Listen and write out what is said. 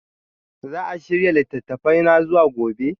Za a shirya littattafana zuwa gobe?